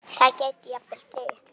Það gæti jafnvel dregist frekar.